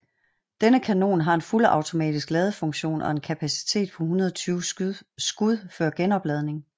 Denne kanon har en fuldautomatisk ladefunktion og har en kapacitet på 120 skud før genopladning